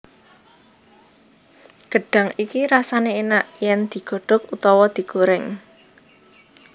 Gedhang iki rasane enak yen digodhog utawa digoreng